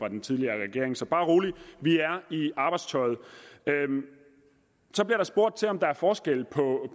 den tidligere regering så bare rolig vi er i arbejdstøjet så bliver der spurgt om der er forskel